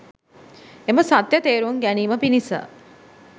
එම සත්‍යය තේරුම් ගැනීම පිණිස